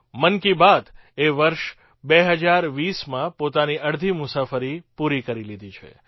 મન કી બાતએ વર્ષ ૨૦૨૦માં પોતાની અડધી મુસાફરી પૂરી કરી લીધી છે